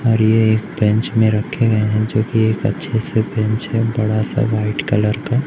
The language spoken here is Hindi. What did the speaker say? और ये एक बेंच में रखे गए हैं जो कि ये एक अच्छे से बेंच हैं बड़ा सा व्हाइट कलर का।